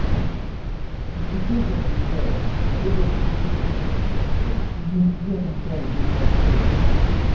это вот теперь ты отвечаешь а до этого был игнор я тебе пишу пишу лично тебе отвечаю на твои сообщения